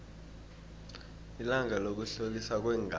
ilanga lokuhloliswa kweengazi